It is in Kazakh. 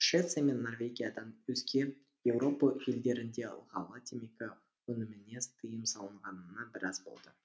швеция мен норвегиядан өзге еуропа елдерінде ылғалды темекі өніміне тыйым салынғанына біраз болды